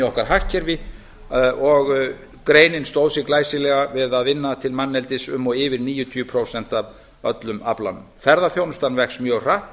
okkar hagkerfi og greinin stóð sig glæsilega við að vinna til manneldis um og yfir níutíu prósent af öllum aflanum ferðaþjónustan vex mjög hratt